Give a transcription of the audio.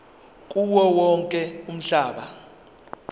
kuwo wonke umhlaba